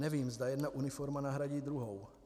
Nevím, zda jedna uniforma nahradí druhou.